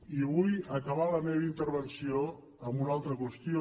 i vull acabar la meva intervenció amb una altra qüestió